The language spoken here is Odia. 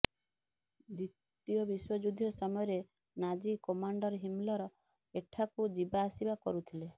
ଦ୍ୱିତୀୟ ବିଶ୍ୱଯୁଦ୍ଧ ସମୟରେ ନାଜି କମାଣ୍ଡର ହିମଲର ଏଠାକୁ ଯିବା ଆସିବା କରୁଥିଲେ